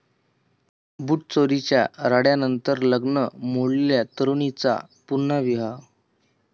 बुटचोरीच्या राड्यानंतर लग्न मोडलेल्या तरुणीचा पुन्हा विवाह